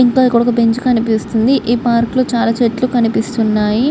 ఇంకా ఇక్కడొక బెంచ్ కనిపిస్తుంది. ఈ పార్క్ లో చాలా చెట్లు కనిపిస్తున్నాయ్.